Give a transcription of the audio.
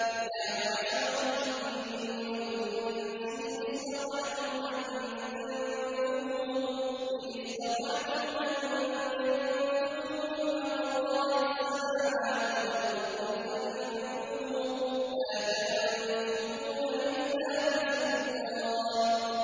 يَا مَعْشَرَ الْجِنِّ وَالْإِنسِ إِنِ اسْتَطَعْتُمْ أَن تَنفُذُوا مِنْ أَقْطَارِ السَّمَاوَاتِ وَالْأَرْضِ فَانفُذُوا ۚ لَا تَنفُذُونَ إِلَّا بِسُلْطَانٍ